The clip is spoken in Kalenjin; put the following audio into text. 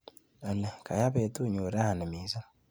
Olly, kayaa betunyu rani missing